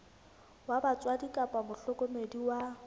wa batswadi kapa mohlokomedi wa